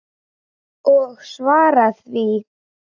Og svara því.